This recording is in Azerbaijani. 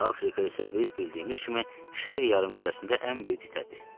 Afrika isə biz bildiyimiz kimi şərq yarımkürəsində ən böyük qitədir.